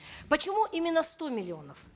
почему именно сто миллионов